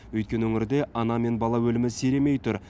өйткені өңірде ана мен бала өлімі сиремей тұр